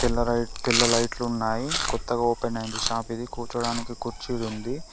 తెల్ల లైట్ తెల్ల లైట్ లు ఉన్నాయి కొత్తగా ఓపెన్ అయింది షాప్ ఇది కూర్చోడానికి కుర్చీలు ఉంది.